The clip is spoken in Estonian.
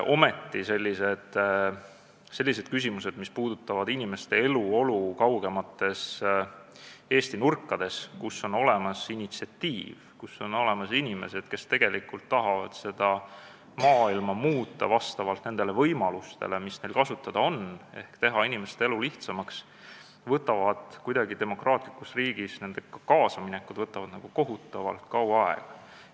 Ometi võtab selliste küsimustega kaasaminek, mis puudutavad inimeste eluolu kaugemates Eesti nurkades, kui on olemas initsiatiiv ja on olemas inimesed, kes tahavad seda maailma muuta vastavalt nendele võimalustele, mis neil kasutada on, ehk teha inimeste elu lihtsamaks, demokraatlikus riigis kohutavalt kaua aega.